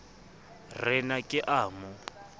re na ke a mo